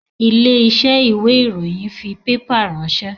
Ilé iṣẹ́ ìwé ìròyìn fi pépà ránsẹ́